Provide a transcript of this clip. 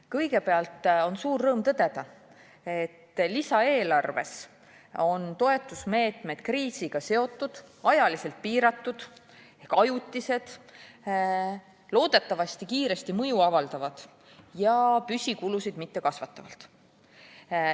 Kõigepealt on suur rõõm tõdeda, et lisaeelarves on toetusmeetmed kriisiga seotud, ajaliselt piiratud, ajutised, loodetavasti kiiresti mõju avaldavad ja püsikulusid mitte kasvatavad.